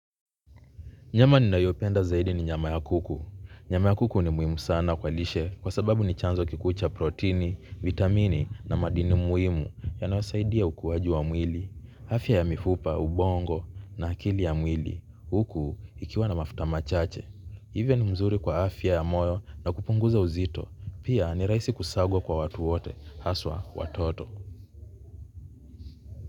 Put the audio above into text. Nyama ninayopenda zaidi ni nyama ya kuku. Nyama ya kuku ni muhimu sana kwa lishe kwa sababu ni chanzo kikuu cha protini, vitamini na madini muhimu yanayosaidia ukuaji wa mwili. Afya ya mifupa, ubongo na akili ya mwili. Huku ikiwa na mafuta machache. Hivyo ni mzuri kwa afya ya moyo na kupunguza uzito. Pia ni rahisi kusakwa kwa watu wote, hasa watoto.